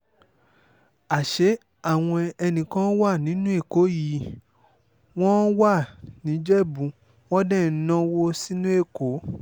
àṣé àwọn ẹnì kan wà nínú èkó yìí wọ́n wá nìjẹ́bù wọn dé ń náwó sínú èkó